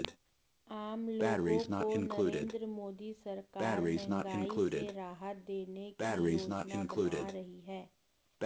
आम लोगों को नरेंद्र मोदी सरकार महंगाई से राहत देने की योजना बना रही है